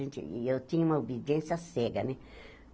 E eu tinha uma obediência cega, né?